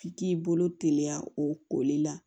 F'i k'i bolo teliya o koli la